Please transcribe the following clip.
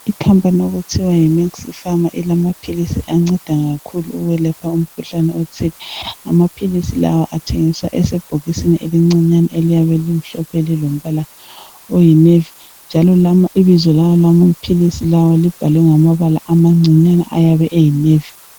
Ikhampani okuthiwa yiMaxipharm ilamaphilisi anceda kakhulu ukwelapha umkhuhlane othile. Amaphilisi lawa athengiswa esebhokisini elincinyane eliyabe limhlophe lilombala oyinavy njalo ibizo lamaphilisi lawa libhalwe ngamabala amancinyane ayabe eyinavy.